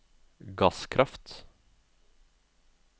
gasskraft